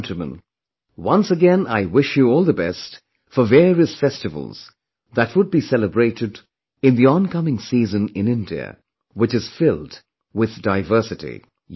My dear countrymen, once again, I wish you all the best for various festivals that will be celebrated in the oncoming season in India, which is filled with diversity